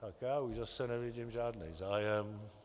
Tak já už zase nevidím žádný zájem.